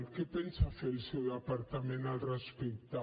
què pensa fer el seu departament al respecte